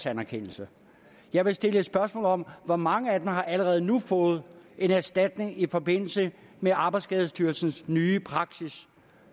anerkendelse jeg vil stille spørgsmål om hvor mange af dem der allerede nu har fået en erstatning i forbindelse med arbejdsskadestyrelsens nye praksis